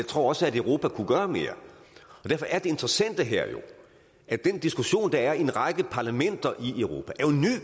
tror også at europa kunne gøre mere derfor er det interessante her jo at den diskussion der er i en række parlamenter i europa